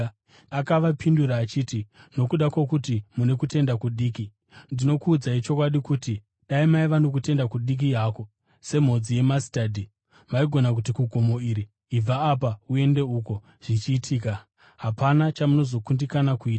Akavapindura achiti, “Nokuda kwokuti mune kutenda kudiki. Ndinokuudzai chokwadi kuti dai maiva nokutenda kudiki hako semhodzi yemasitadhi maigona kuti kugomo iri, ‘Ibva apa uende uko,’ zvichiitika. Hapana chamunozokundikana kuita.